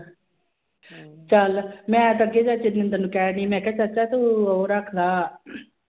ਚੱਲ ਮੈਂ ਤਾਂ ਅੱਗੇ ਚਾਚੇ ਜਿੰਦਰ ਨੂੰ ਕਹਿ ਰਹੀਂ ਮੈਂ ਕਿਹਾ ਚਾਚਾ ਤੂੰ ਉਹ ਰੱਖ ਲਾ